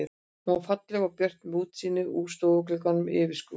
Hún var falleg og björt með útsýni úr stofugluggunum yfir skrúðgarðinn.